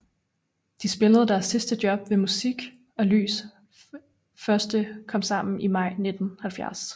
De spillede deres sidste job ved Musik og Lys første Komsammen i maj 1970